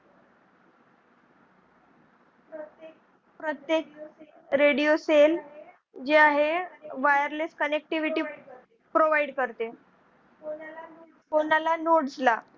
प्रत्येक radio cell जे आहे wireless connectivity provide करते. कोणाला nodes ला?